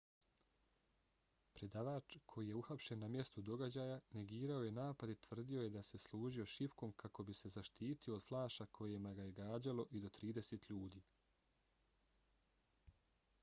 predavač koji je uhapšen na mjestu događaja negirao je napad i tvrdio je da se služio šipkom kako bi se zaštitio od flaša kojima ga je gađalo i do trideset ljudi